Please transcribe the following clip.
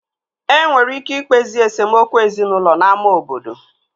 E nwere ike ikpezi esemokwu ezinaụlọ n'ámá obodo